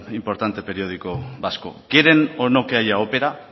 importante periódico vasco quieren o no que haya opera